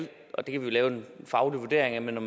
lave en faglig vurdering af når